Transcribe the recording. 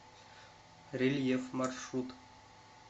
рельеф маршрут